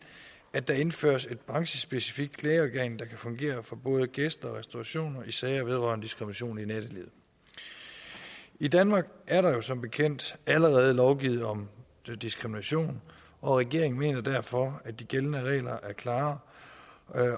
at der indføres et branchespecifikt klageorgan der kan fungere for både gæster og restaurationer i sager vedrørende diskrimination i nattelivet i danmark er der jo som bekendt allerede lovgivet om diskrimination og regeringen mener derfor at de gældende regler er klare